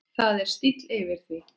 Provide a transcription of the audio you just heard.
Það er stíll yfir því.